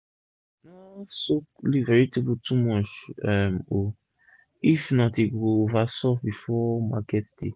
no soak leaf vegetable too much um o if not e go over soft before market day